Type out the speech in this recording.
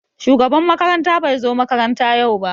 Shugaban makaranta bai zo makaranta yau ba.